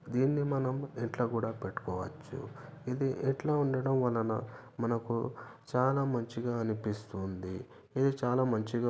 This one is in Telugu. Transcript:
దీన్ని మనం ఇంట్లో కూడా పెట్టుకోవచ్చు ఇది ఇంట్లో ఉండడం వలన మనకు చాలా మంచిగా అనిపిస్తుంది ఇవి చాలా మంచిగ --